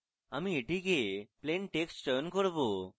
আমি এটিকে plain text চয়ন করব